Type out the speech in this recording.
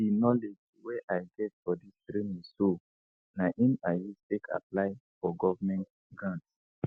di knowledge wey i get for dis training so na im i use take apply for govment grant